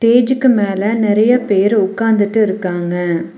ஸ்டேஜ்க்கு மேல நெறைய பேர் உட்காந்துட்டு இருக்காங்க.